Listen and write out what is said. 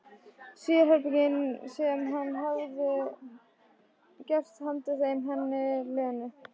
Sérherbergin sem hann hefði gert handa þeim, henni og Lenu.